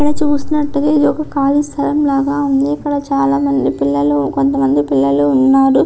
ఇక్కడ చూసినట్టు ఇదొక ఖాళీ స్థలం లాగా ఉంది. ఇక్కడ చాలా మంది పిల్లలు కొంతమంది పిల్లలు ఉన్నారు.